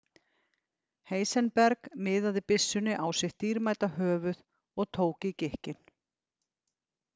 Heisenberg miðaði byssunni á sitt dýrmæta höfuð og tók í gikkinn.